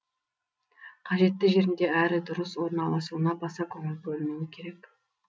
қажетті жерінде әрі дұрыс орналасуына баса көңіл бөлінуі керек